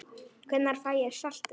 Hvenær fæ ég saltið?